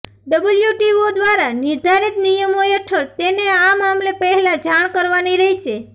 WTO દ્વારા નિર્ધારિત નિયમો હેઠળ તેને આ મામલે પહેલા જાણ કરવાની રહેશે